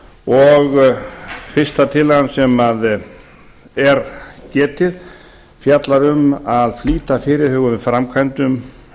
og fyrsta tillagan sem getið er um fjallar um að flýta fyrirhuguðum framkvæmdum